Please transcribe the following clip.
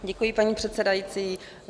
Děkuji, paní předsedající.